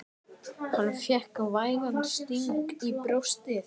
Hann fékk vægan sting í brjóstið.